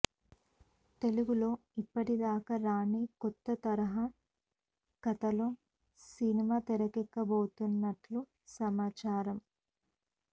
తెలుగులో ఇప్పటిదాకా రాని కొత్త తరహా కథతో సినిమా తెరకెక్కబోతున్నట్లు సమాచారం